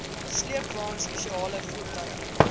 sleepwaens spesiale voertuie